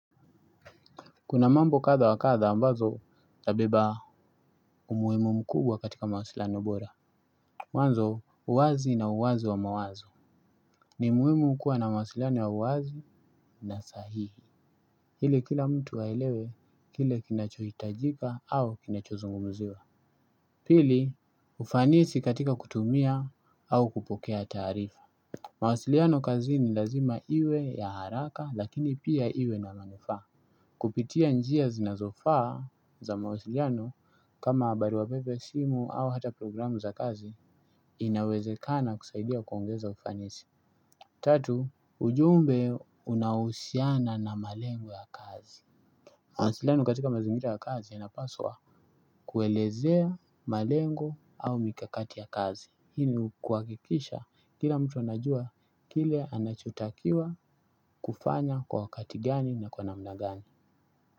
Kuna mambo kadha wa kadha ambazo zabeba umuimu mkubwa katika mawasiliano bora. Mwanzo uwazi na uwazi wa mawazo. Ni muimu kuwa na mawasiliano ya uwazi na sahihi. Hili kila mtu aelewe, kile kinachohitajika au kinachozungumziwa. Pili, ufanisi katika kutumia au kupokea taarifa. Mawasiliano kazini lazima iwe ya haraka lakini pia iwe na manufaa. Kupitia njia zinazofaa za mawasiliano kama baruwa pepe simu au hata programu za kazi inawezekana kusaidia kuongeza ufanisi. Tatu, ujumbe unahusiana na malengo ya kazi. Mawsiliano katika mazingira ya kazi inapaswa kuelezea malengo au mikakati ya kazi. Hii ni kuakikisha kila mtu anajua kile anachutakiwa kufanya kwa wakati gani na kwa namna gani.